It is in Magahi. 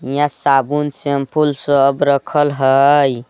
हियाँ साबुन शेमपुल सब रखल हई।